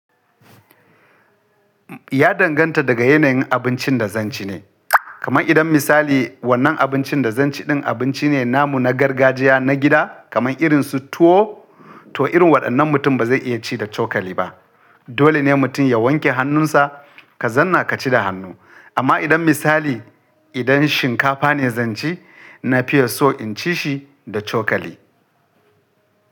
Ya danganta daga yanayin abincin da zan ci ne. Kaman idan misali wannan abincin da zan ci ɗin abinci ne namu na gargajiya na gida kaman irin su tuwo, to irin waɗannan mutum ba zai iya ci da cokali ba. Dole ne mutum ya wanke hannunsa, ka zanna ka ci da hannu. Amma idan misali idan shinkafa ne zan ci, na fiya so in ci shi da cokali.